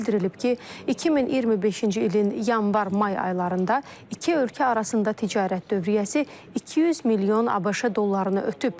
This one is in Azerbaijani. Bildirilib ki, 2025-ci ilin yanvar-may aylarında iki ölkə arasında ticarət dövriyyəsi 200 milyon ABŞ dollarını ötüb.